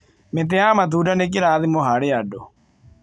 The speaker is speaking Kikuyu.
Mĩtĩ ya matunda nĩ kĩrathimo harĩ andũ.